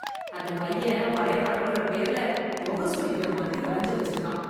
அந்தப் பையன் வரை படம்கிற பேர்ல முகம் சுளிக்கிற மாதிரி வரைஞ்சு வச்சிருக்கான்